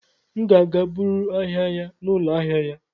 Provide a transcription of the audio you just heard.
M ga-aga buru ahịa ya n'ụlọ ahịa ya.